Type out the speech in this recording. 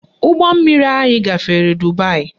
Ụgbọmmiri anyị gafere Dubaị